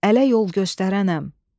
Ələ yol göstərənəm.